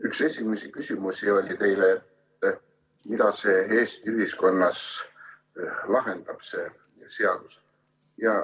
Üks esimesi küsimusi teile oli, et mida see seadus Eesti ühiskonnas lahendaks.